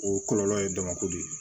O kɔlɔlɔ ye damako de ye